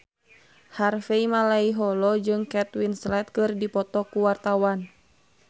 Harvey Malaiholo jeung Kate Winslet keur dipoto ku wartawan